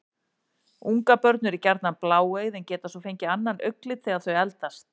Ungabörn eru gjarnan bláeygð en geta svo fengið annan augnlit þegar þau eldast.